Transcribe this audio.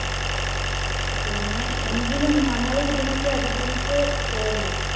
പിന്നെ എങ്കിലും നമ്മൾ ഇതിനെയൊക്കെ അതിജീവിച്ചു പോന്നു